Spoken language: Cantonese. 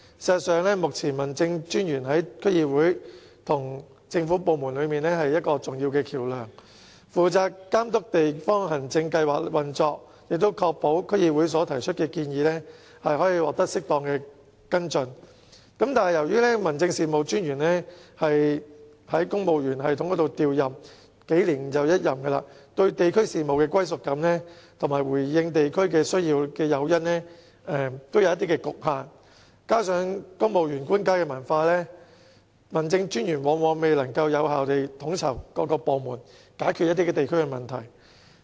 事實上，目前民政專員是區議會與政府部門之間的重要橋樑，負責監督地方行政計劃的運作，並確保區議會提出的建議獲得適當跟進，但由於民政專員是循公務員系統調任，幾年一任，對地區事務的歸屬感和回應地區需要的誘因也有限，再加上公務員的官階文化，民政專員因此往往未能有效地統籌各部門，解決地區問題。